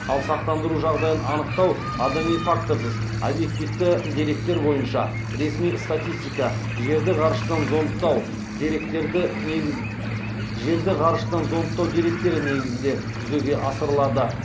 ал сақтандыру жағдайын анықтау адами факторсыз объективті деректер бойынша ресми статистика жерді ғарыштан зондтау деректері негізінде жүзеге асырылады